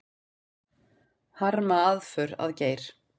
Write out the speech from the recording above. Harma aðför að Geir